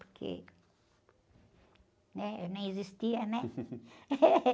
Porque, né? Nem existia, né?